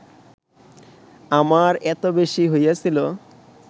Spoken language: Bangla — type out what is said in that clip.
আমার এত বেশী হইয়াছিল